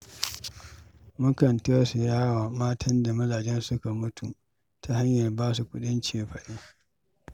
Mukan tausaya wa matan da mazajensu suka mutu ta hanyar ba su kuɗin cefane.